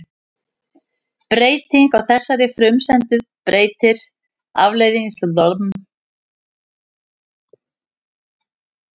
Breyting á þessari frumsendu breytir afleiðslukerfinu algjörlega og verður til að skapa nýja flatarmálsfræði.